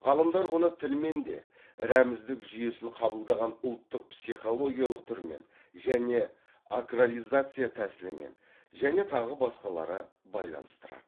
ғалымдар оны тілмен де рәміздік жүйесін қабылдаған ұлттық психологиялық түрмен және акрализация тәсілімен және тағы басқалары байланыстырады